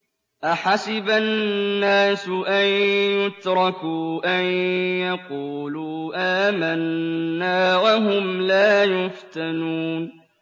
أَحَسِبَ النَّاسُ أَن يُتْرَكُوا أَن يَقُولُوا آمَنَّا وَهُمْ لَا يُفْتَنُونَ